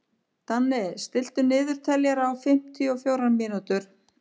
Danni, stilltu niðurteljara á fimmtíu og fjórar mínútur.